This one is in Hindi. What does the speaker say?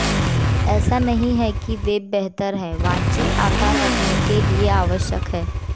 ऐसा नहीं है कि वेब बेहतर है वांछित आकार रखने के लिए आवश्यक है